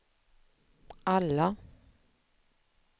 alla